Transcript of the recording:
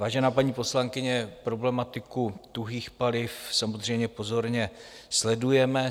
Vážená paní poslankyně, problematiku tuhých paliv samozřejmě pozorně sledujeme.